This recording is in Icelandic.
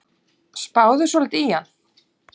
Spáðu svolítið í hann.